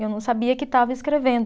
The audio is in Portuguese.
Eu não sabia que estava escrevendo.